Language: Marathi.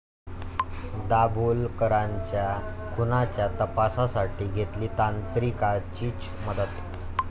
दाभोलकरांच्या खुनाच्या तपासासाठी घेतली तांत्रिकाचीच मदत?